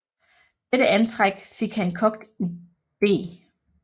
Dette antræk fik han kogt i beg